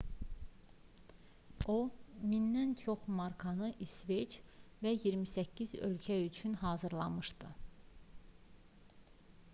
o 1000-dən çox markanı i̇sveç və 28 ölkə üçün hazırlamışdı